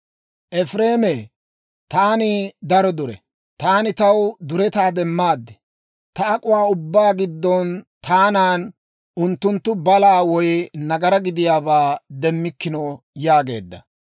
Efireeme, «Taani daro dure; taani taw duretaa demmaad. Ta ak'uwaa ubbaa giddon taanan unttunttu balaa woy nagaraa gidiyaabaa demmikkino» yaageedda.